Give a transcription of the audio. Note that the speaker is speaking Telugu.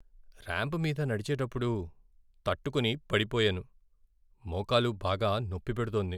ర్యాంప్ మీద నడిచేటప్పుడు తట్టుకొని పడిపోయాను. మోకాలు బాగా నొప్పి పెడుతోంది.